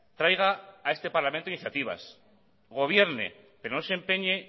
traiga a este parlamento iniciativas gobierne pero no se empeñe